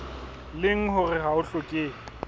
leng hore ha ho hlokehe